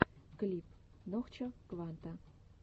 клип нохчо кванта